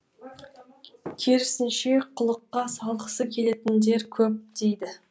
керісінше қылыққа салғысы келетіндер көп дейді